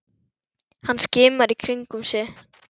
Hann skimar í kringum sig.